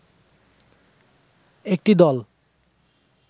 একটি দল